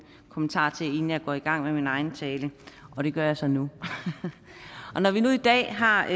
kommentarer inden jeg går i gang med min egen tale og det gør jeg så nu når vi nu i dag har